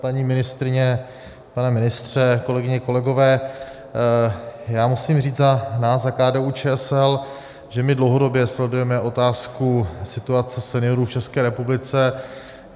Paní ministryně, pane ministře, kolegyně, kolegové, já musím říct za nás, za KDU-ČSL, že my dlouhodobě sledujeme otázku situace seniorů v České republice.